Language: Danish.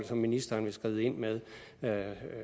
som ministeren vil skride ind med